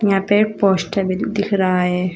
यहां पे एक पोस्टर भी दिख रहा हैं।